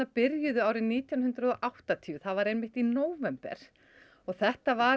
byrjuðu árið nítján hundruð og áttatíu það var einmitt í nóvember þetta var